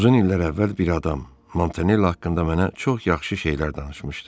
Uzun illər əvvəl bir adam Montanelli haqqında mənə çox yaxşı şeylər danışmışdı.